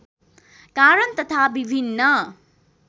कारण तथा विभिन्न